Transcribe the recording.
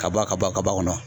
Ka ba ka ban ka bɔ a kɔnɔ